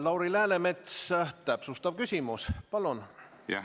Lauri Läänemets, täpsustav küsimus, palun!